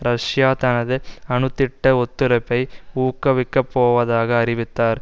Russia தனது அணுத்திட்ட ஒத்துறப்பை ஊக்கவிக்கப்போவதாக அறிவித்தார்